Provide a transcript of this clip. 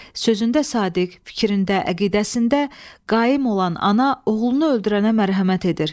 Sözündə sadiq, fikrində, əqidəsində qaim olan ana oğlunu öldürənə mərhəmət edir.